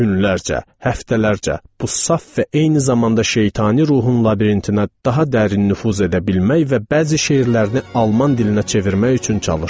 Günlərcə, həftələrcə bu saf və eyni zamanda şeytani ruhun labirintinə daha dərin nüfuz edə bilmək və bəzi şeirlərini alman dilinə çevirmək üçün çalışdım.